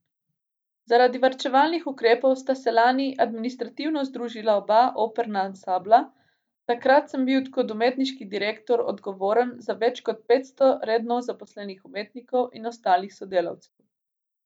Zaradi varčevalnih ukrepov sta se lani administrativno združila oba operna ansambla, takrat sem bil kot umetniški direktor odgovoren za več kot petsto redno zaposlenih umetnikov in ostalih sodelavcev.